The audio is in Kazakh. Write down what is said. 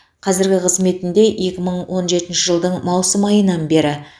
қазіргі қызметінде екі мың он жетінші жылдың маусым айынан бері